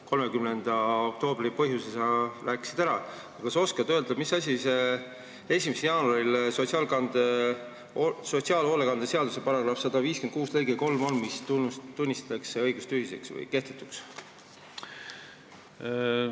30. oktoobri põhjuse sa rääkisid ära, aga kas sa oskad öelda, mis asi muutub, kui 1. jaanuaril sotsiaalhoolekande seaduse § 156 lõige 3 tunnistatakse õigustühiseks või kehtetuks?